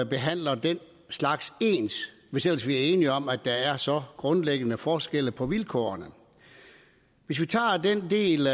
behandler den slags ens hvis ellers vi er enige om at der er så grundlæggende forskelle på vilkårene hvis vi tager den del